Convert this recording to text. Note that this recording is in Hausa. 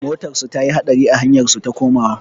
Motarsu ta yi haɗari a hanyar su ta komawa.